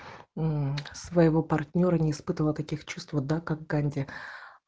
мм своего партнёра не испытывал таких чувств да как канди